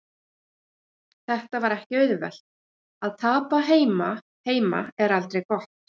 Þetta var ekki auðvelt, að tapa heima heima er aldrei gott.